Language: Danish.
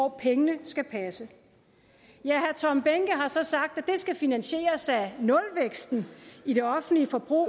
at pengene skal passe herre tom behnke har så sagt at skal finansieres af nulvæksten i det offentlige forbrug